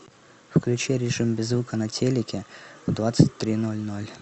включи режим без звука на телике в двадцать три ноль ноль